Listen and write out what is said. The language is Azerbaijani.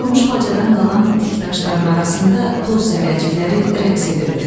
Dağılmış bacadan qalan dik daşların arasında toz zərrəcikləri rəqs edirdi.